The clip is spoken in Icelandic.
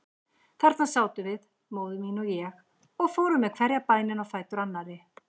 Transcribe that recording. Þarna sátum við, móðir mín og ég, og fórum með hverja bænina á fætur annarri.